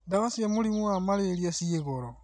Ndawa cia mũrimũwa Mararia ciĩ goro